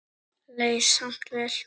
Leið samt vel.